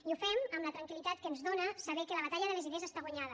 i ho fem amb la tranquil·litat que ens dóna saber que la batalla de les idees està guanyada